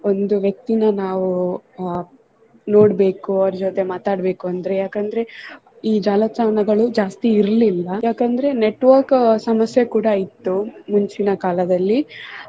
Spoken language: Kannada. ಒಂದು ವ್ಯಕ್ತಿನ ನಾವು ಅಹ್ ನೋಡ್ಬೇಕು ಅವ್ರು ಜೊತೆ ಮಾತಾಡ್ಬೇಕು ಅಂದ್ರೆ ಯಾಕಂದ್ರೆ ಈ ಜಾಲತಾಣಗಳು ಜಾಸ್ತಿ ಇರ್ಲಿಲ್ಲ ಯಾಕಂದ್ರೆ network ಸಮಸ್ಯೆ ಕೂಡಾ ಇತ್ತು ಮುಂಚಿನ ಕಾಲದಲ್ಲಿ.